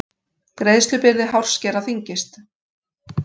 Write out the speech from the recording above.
Greiðslubyrði hárskera þyngist